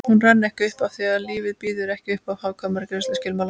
Hún rann ekki upp afþví lífið býður ekki uppá hagkvæma greiðsluskilmála